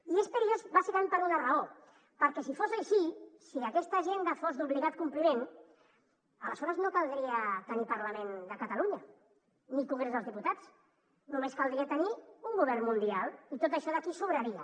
i és pe·rillós bàsicament per una raó perquè si fos així si aquesta agenda fos d’obligat com·pliment aleshores no caldria tenir parlament de catalunya ni congrés dels diputats només caldria tenir un govern mundial i tot això d’aquí sobraria